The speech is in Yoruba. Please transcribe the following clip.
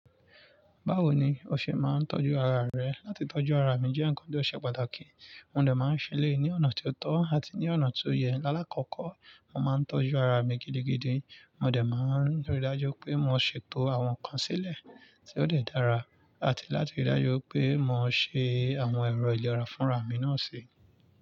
Báwo ni o ṣe máa ń tọ́jú ara rẹ? Látí tọ́jú ara mi jẹ́ ǹkan tó ṣe pàtàkì. Mo dè máa ń ṣe eléyí ni ọ̀nà tí ó tọ́ àti ní ọ̀nà to yẹ. Láàkọ́kọ́, mo máa ń tọ́jú ara mi gidigidi. Mo dè máa ń rí i dájú pé mo ṣètò àwọn ǹkan sílẹ̀ tí ó dè dára àti láti rí i dájú pé mo ṣe àwọn ẹ̀rọ ìlera fún ra mi náà ṣe.